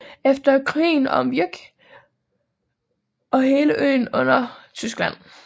Efter krigen kom Vyk og hele øen under Tyskland